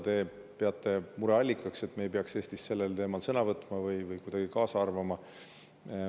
Te peate mureallikaks, et me ei peaks Eestis sellel teemal sõna võtma või arvama.